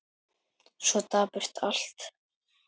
Svo dapurt allt.